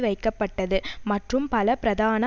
வைக்கப்பட்டது மற்றும் பல பிரதான